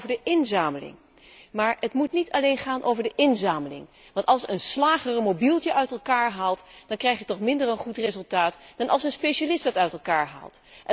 Het gaat vooral over de inzameling, maar het moet niet alleen gaan over de inzameling, want als een slager een mobieltje uit elkaar haalt, dan krijg je toch een minder goed resultaat dan wanneer een specialist dit uit elkaar haalt.